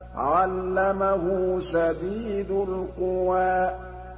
عَلَّمَهُ شَدِيدُ الْقُوَىٰ